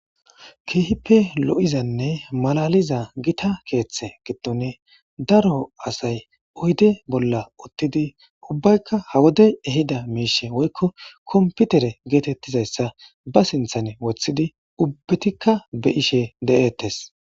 Keehippe lo7izanne malaaliza githa keeththe giddoni daro asay oyde bolla uththidi ubbaykka ha wodey ehida miishshe woykko kompithere geetheththizayssa ba sinththani woththidi ubbethikka be7ishe de7eeththes.